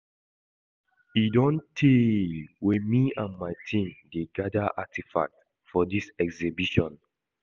E don tey wey me and my team dey gather artefacts for dis exhibition